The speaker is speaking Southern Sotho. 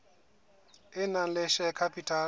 e nang le share capital